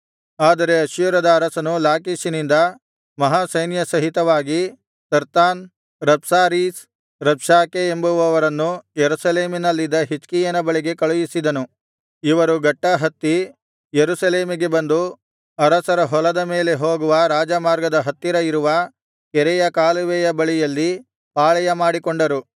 ಆದರೆ ಅಶ್ಶೂರದ ಅರಸನು ಲಾಕೀಷಿನಿಂದ ಮಹಾಸೈನ್ಯ ಸಹಿತವಾಗಿ ತರ್ತಾನ್ ರಬ್ಸಾರೀಸ್ ರಬ್ಷಾಕೆ ಎಂಬುವವರನ್ನು ಯೆರೂಸಲೇಮಿನಲ್ಲಿದ್ದ ಹಿಜ್ಕೀಯನ ಬಳಿಗೆ ಕಳುಹಿಸಿದನು ಇವರು ಗಟ್ಟಾ ಹತ್ತಿ ಯೆರೂಸಲೇಮಿಗೆ ಬಂದು ಅಗಸರ ಹೊಲದ ಮೇಲೆ ಹೋಗುವ ರಾಜಮಾರ್ಗದ ಹತ್ತಿರ ಇರುವ ಕೆರೆಯ ಕಾಲುವೆಯ ಬಳಿಯಲ್ಲಿ ಪಾಳೆಯ ಮಾಡಿಕೊಂಡರು